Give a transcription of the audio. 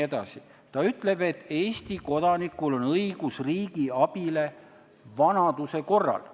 See ütleb, et Eesti kodanikul on õigus riigi abile vanaduse korral.